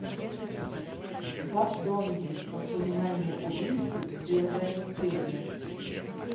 гапдонги воспоминания убийцы первая серия